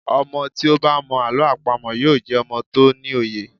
Ọmọ tí ó bá mọ Àlọ́ àpamọ̀ yóò jẹ́ ọmọ tó ní òye.